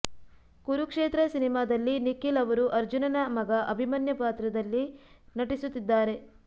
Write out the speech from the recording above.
ಕುರುಕ್ಷೇತ್ರ ಸಿನಿಮಾದಲ್ಲಿ ನಿಖಿಲ್ ಅವರು ಅರ್ಜುನನ ಮಗ ಅಭಿಮನ್ಯು ಪಾತ್ರದಲ್ಲಿ ನಟಿಸುತ್ತಿದ್ದಾರೆ